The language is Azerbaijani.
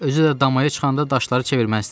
Özü də damaya çıxanda daşları çevirməzdi.